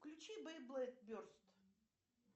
включи бейблэйд берст